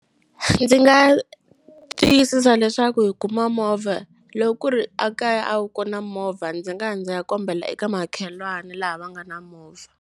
Ndzi nga tiyisisa leswaku hi kuma movha loko ku ri a kaya a wu kona movha ndzi nga ya ndzi ya kombela eka makhelwani laha va nga na movha.